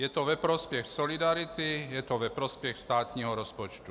Je to ve prospěch solidarity, je to ve prospěch státního rozpočtu.